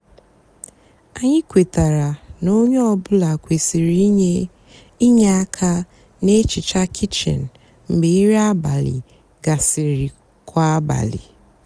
ányị kwetara ná ónyé ọ bụlà kwesịrị ínyé ínyé ákà nà-èhicha kichin mgbe nrì abálị gasịrị kwá abálị.